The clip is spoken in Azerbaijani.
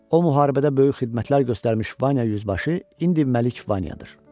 O müharibədə böyük xidmətlər göstərmiş Vanya yüzbaşı indi Məlik Vanyadır.